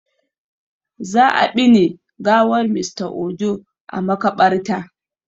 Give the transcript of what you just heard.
Za a ɓine gawar Mr Ojo are makaɓarta